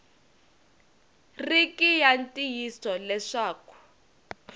ri ki ya ntiyiso leswaku